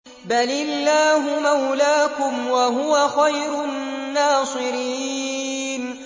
بَلِ اللَّهُ مَوْلَاكُمْ ۖ وَهُوَ خَيْرُ النَّاصِرِينَ